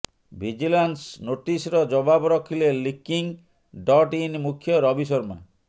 vigilance ନୋଟିସର ଜବାବ ରଖିଲେ ଲିକିଂ ଡଟ୍ ଇନ୍ ମୁଖ୍ୟ ରବି ଶର୍ମା